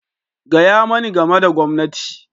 Gaya mani game da gwamnati!